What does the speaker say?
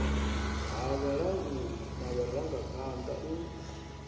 ha vhalanguli na vharangaphanḓa u